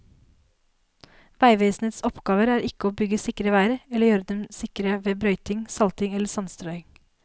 Veivesenets oppgave er ikke å bygge sikre veier eller å gjøre dem sikre ved brøyting, salting eller sandstrøing.